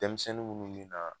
Denmisɛnnin minnu min na